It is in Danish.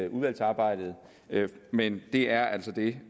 udvalgsarbejdet men det er altså det